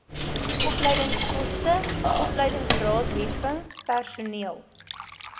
opleidingskoste opleidingsraadheffing personeel